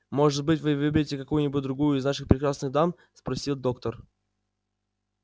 может быть вы выберете какую-нибудь другую из наших прекрасных дам спросил доктор